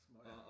Smøger